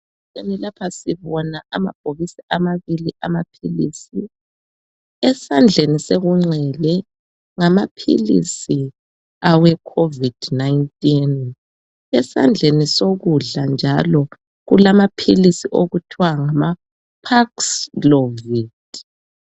Lapha sibona amabhokisi ababili amaphilisi, esandleni senxele ngamaphilisi awecovid 19. Esandleni sokudla njalo kulaphilisi njalo okuthwa ngama paxlovid.